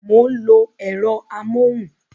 Mo ń lo ẹ̀rọ amóhùn